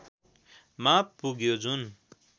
मा पुग्यो जुन